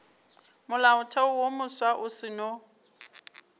molaotheo wo mofsa o seno